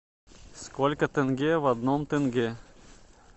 сколько тенге в одном тенге